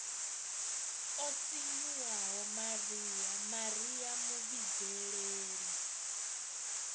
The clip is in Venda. o sinyuwaho maria maria muvhidzeleli